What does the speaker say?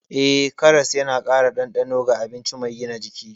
Eh, karas yana ƙara dandano ga abinci mai gina jiki.